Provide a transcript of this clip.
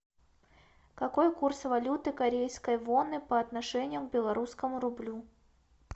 какой курс валюты корейской воны по отношению к белорусскому рублю